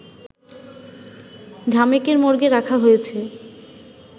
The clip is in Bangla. ঢামেকের মর্গে রাখা হয়েছে